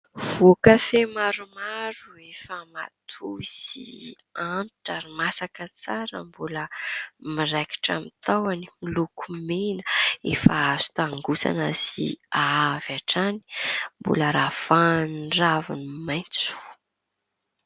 Voan-kafe maromaro efa matoy sy antitra ary masaka tsara, mbola miraikitra amin'ny tahony miloko mena efa azo tangosana sy ahahy avy hatrany, mbola ravahan'ny ravin'ny maitso.